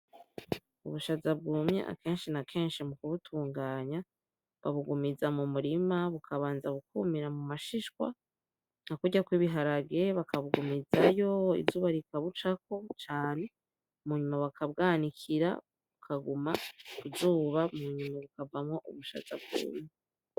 Ubushaza bwumye akeshi na keshi mu kubutunganya babugumiza mu murima bukabanza bukumira mumashishwa nka kurya kw'ibiharage bakabugumizayo izuba rikabucako cane mu nyuma baka bwanikira bukaguma ku zuba hakavamwo ubushaza bwumye .